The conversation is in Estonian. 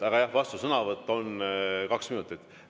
Aga jah, vastusõnavõtt on kaks minutit.